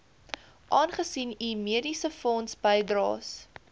aangesien u mediesefondsbydraes